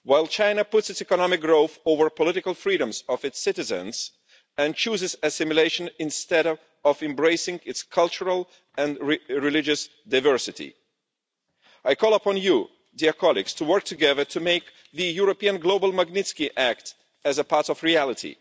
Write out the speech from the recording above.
China thus puts its economic growth over the political freedoms of its citizens and chooses assimilation instead of embracing its cultural and religious diversity. I call upon you to work together to make the European global Magnitsky Act a part of reality.